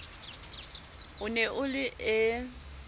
o ne o le e